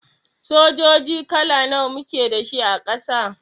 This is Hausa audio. Sojoji kala nawa muke da shi a Ƙasa?